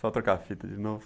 Só trocar a fita de novo.